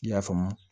I y'a faamu